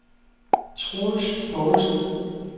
Troels Poulsen